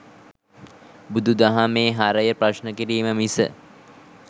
බුදු දහමේ හරය ප්‍රශ්න කිරීම මිස